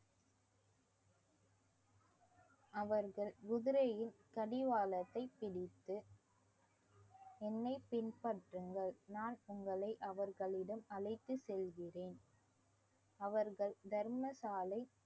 அவர்கள் குதிரையின் கடிவாளத்தை பிடித்து என்னை பின்பற்றுங்கள் நான் உங்களை அவர்களிடம் அழைத்துச் செல்கிறேன் அவர்கள் தர்மசாலை